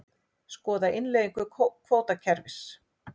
Skoða innleiðingu kvótakerfis